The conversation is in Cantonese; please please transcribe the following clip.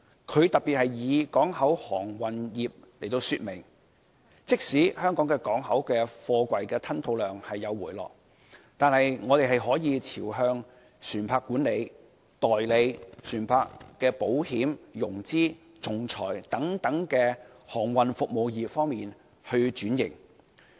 他特別以港口航運業來說明，即使香港港口的貨櫃吞吐量有所回落，但我們是可以朝着發展船舶管理、代理船舶保險、融資、仲裁等航運服務業方面轉型。